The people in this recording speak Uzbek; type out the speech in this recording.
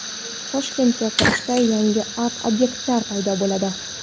Toshkentga kirishda yangi art-obyektlar paydo bo‘ladi.